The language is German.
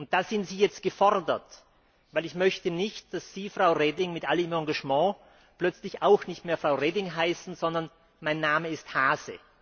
Da sind Sie jetzt gefordert, denn ich möchte nicht, dass Sie, Frau Reding, mit all Ihrem Engagement plötzlich auch nicht mehr Frau Reding heißen, sondern Mein Name ist Hase.